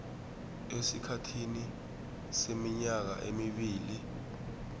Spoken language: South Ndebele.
esikhathini seminyaka emibili